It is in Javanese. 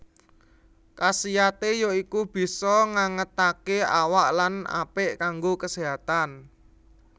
Kasiaté ya iku bisa ngangetaké awak lan apik kanggo keséhatan